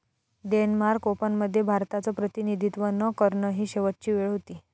Denmark ओपनमध्ये भारताचं प्रतिनिधित्व न करणं ही शेवटची वेळ होती.